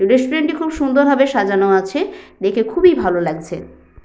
Restaurant -টি খুব সুন্দর ভাবে সাজানো আছে দেখে খুবই ভালো লাগছে।